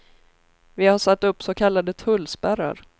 Vi har satt upp så kallade tullspärrar.